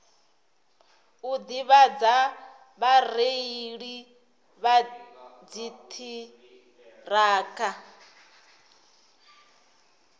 u ḓivhadza vhareili vha dziṱhirakha